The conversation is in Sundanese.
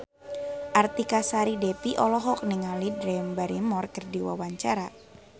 Artika Sari Devi olohok ningali Drew Barrymore keur diwawancara